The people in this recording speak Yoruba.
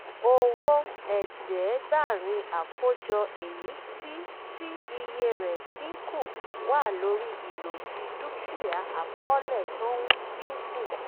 owó ẹ̀ẹ́dẹ́gbàrín àkójọ èyí tí tí iye rẹ̀ dínkù wà lórí ìlòdì dúkìá àkọ́ọ̀lẹ̀ tó ń dínkù.